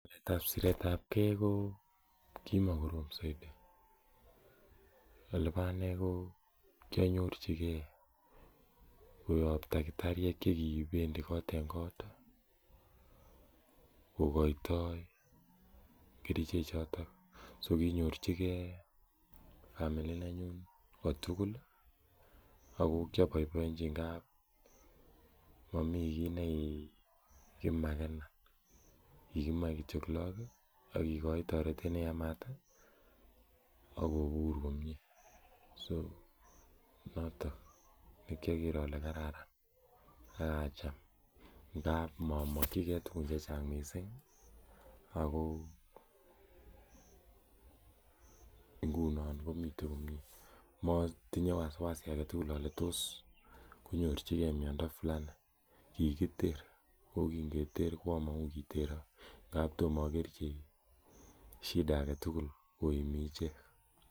Ng'alek ab siretabgee ko kimokorom soiti elebo anee ko kianyorchi gee koyob takitariek chekibendii kot en kot kokoitoo kerichek choton so konyorchigee family nenyun kotugul ih ako kioboiboienji ngap momii kiy nekikimakenan kikimoe kityo look ih ak kikoi toretet neyamat ih akobur komie so noton nekioker ole kararan ak acham ngap momokyigee tuguk chechang missing ako ngunon komiten komie motinye wasiwasi aketugul ole tos konyorchigee miondo fulani, kikiter ako kin keter among'u kokiterok ngap tomo okerchi shida aketugul koimin ichek